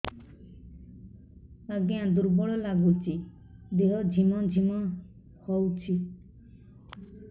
ଆଜ୍ଞା ଦୁର୍ବଳ ଲାଗୁଚି ଦେହ ଝିମଝିମ ହଉଛି